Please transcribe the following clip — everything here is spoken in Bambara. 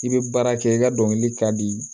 I bɛ baara kɛ i ka dɔnkili ka di